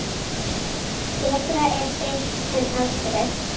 Betra er seint en aldrei.